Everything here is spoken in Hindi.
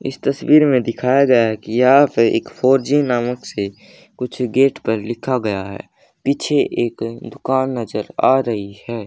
इस तस्वीर में दिखाया गया हैं कि यहां पे फोर जी नामक से कुछ गेट पर लिखा गया है पीछे एक दुकान नजर आ रही है।